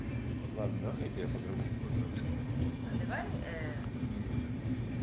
ладно давай я тебя по-другому поздравлю а давай ээ не тут